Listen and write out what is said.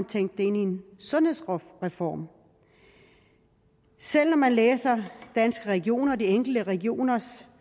tænkt det ind i en sundhedsreform selv når man læser danske regioner og de enkelte regioners